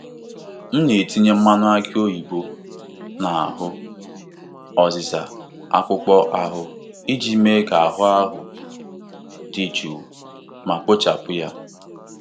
M na-etinye mmanụ aki oyibo n'ahụ ọzịza akpụkpọ ahụ iji mee ka ahụ dị jụụ ma kpochapụ ya.